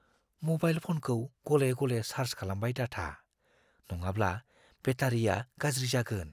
Mobile फ'नखौ गले-गले charge खालामबाय दाथा, नङाब्ला बेटारिया गाज्रि जागोन।